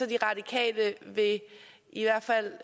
de radikale i hvert fald